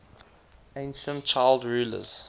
ancient child rulers